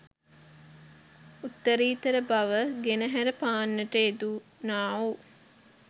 උත්තරීතර බව ගෙනහැර පාන්නට යෙදුණාවූ